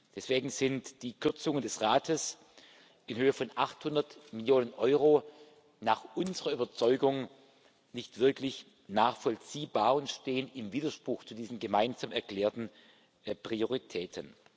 Deswegen sind die Kürzungen des Rates in Höhe von 800 Millionen Euro nach unserer Überzeugung nicht wirklich nachvollziehbar und stehen im Widerspruch zu diesen gemeinsam erklärten Prioritäten.